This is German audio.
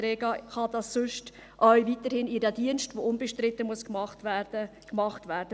Die Rega kann weiterhin ihren Dienst, der unbestritten gemacht werden muss, machen.